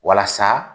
Walasa